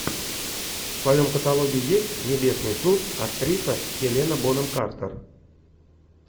в твоем каталоге есть небесный суд актриса хелена бонем картер